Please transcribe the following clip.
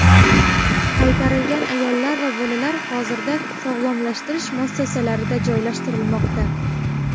Qaytarilgan ayollar va bolalar hozirda sog‘lomlashtirish muassasalarida joylashtirilmoqda.